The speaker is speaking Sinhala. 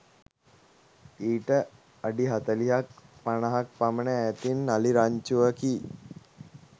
ඊට අඩි හතළිහක් පනහක් පමණ ඈතින් අලි රංචුවකි